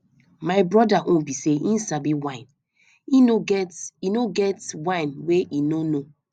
my broda own be say he sabi wine e no get e no get wine he no know